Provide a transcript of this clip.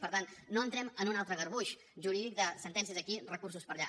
per tant no entrem en un altre garbuix jurídic de sentències per aquí recursos per allà